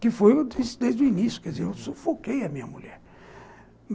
que foi, eu disse desde o início, eu sufoquei a minha mulher.